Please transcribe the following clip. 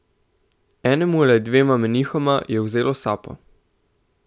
Enemu ali dvema menihoma je vzelo sapo.